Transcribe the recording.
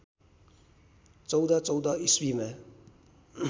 १४१४ इस्वीमा